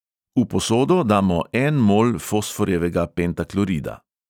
V posodo damo en mol fosforjevega pentaklorida.